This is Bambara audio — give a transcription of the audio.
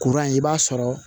Kuran i b'a sɔrɔ